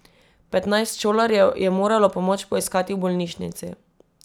Petnajst šolarjev je moralo pomoč poiskati v bolnišnici.